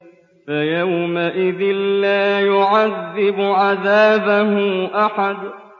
فَيَوْمَئِذٍ لَّا يُعَذِّبُ عَذَابَهُ أَحَدٌ